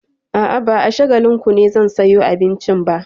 A'a, ba a Shagalinku ne zan sayo abincin ba.